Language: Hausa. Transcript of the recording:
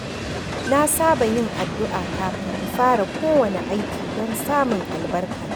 Na saba yin addu’a kafin in fara kowane aiki don samun albarka.